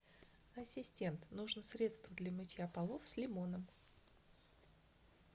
ассистент нужно средство для мытья полов с лимоном